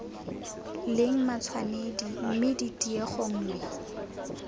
leng matshwanedi mme tiego nngwe